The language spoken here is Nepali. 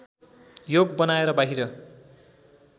योग बनाएर बाहिर